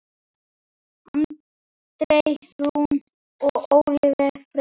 Andrea Rún og Ólöf Freyja.